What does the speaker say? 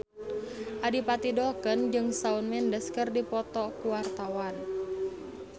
Adipati Dolken jeung Shawn Mendes keur dipoto ku wartawan